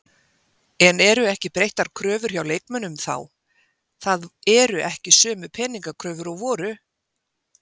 En eru ekki breyttar kröfur hjá leikmönnum þá, það eru ekki sömu peningakröfur og voru?